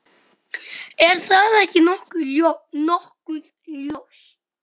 Er það ekki nokkuð ljóst?